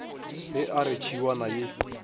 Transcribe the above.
ge a re tšhiwana ye